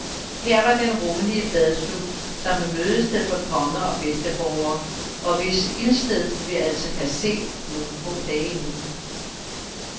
Her var den rummelige badstue, som var mødested for konge og bedsteborgere, og hvis ildsted vi altså kan se nogle få dage endnu.